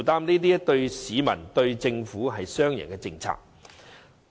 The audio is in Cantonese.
這對市民、對政府，均是雙贏的政策。